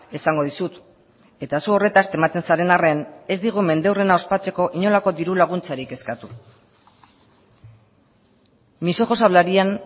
esango dizut eta zu horretaz tematzen zaren arren ez digu mendeurrena ospatzeko inolako diru laguntzarik eskatu mis ojos hablarían